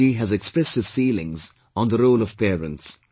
Sunder Ji has expressed his feelings on the role of parents